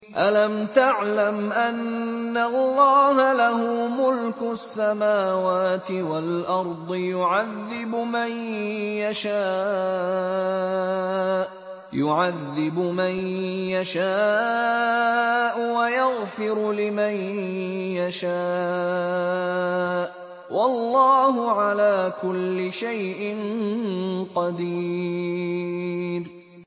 أَلَمْ تَعْلَمْ أَنَّ اللَّهَ لَهُ مُلْكُ السَّمَاوَاتِ وَالْأَرْضِ يُعَذِّبُ مَن يَشَاءُ وَيَغْفِرُ لِمَن يَشَاءُ ۗ وَاللَّهُ عَلَىٰ كُلِّ شَيْءٍ قَدِيرٌ